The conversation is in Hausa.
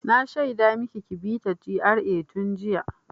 Na shaida maki ki bi ta GRA tun jiya!